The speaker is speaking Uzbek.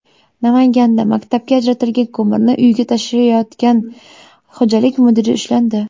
Namanganda maktabga ajratilgan ko‘mirni uyiga tashiyotgan xo‘jalik mudiri ushlandi.